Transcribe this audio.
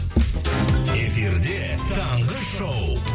эфирде таңғы шоу